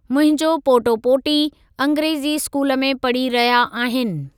मुंहिंजो पोटो पोटी अंग्रेजी स्कूल में पढ़ी रहिया आहीनि।